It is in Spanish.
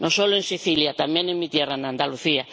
No solo en Sicilia, también en mi tierra, en Andalucía.